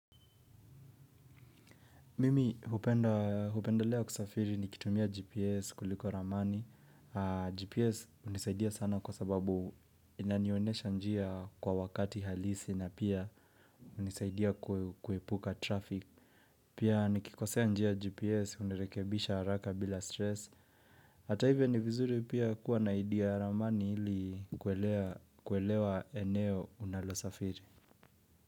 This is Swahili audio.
Mimi hupenda hupendelea kusafiri nikitumia GPS kuliko. Ramani. GPS hunisaidia sana kwa sababu inanionesha njia kwa wakati halisi na pia hunisaidia kuepuka traffic. Pia nikikosea njia GPS hunirekebisha haraka bila stress. Hata hivyo ni vizuri pia kuwa na idea ramani ili kuelewa eneo unalo safiri.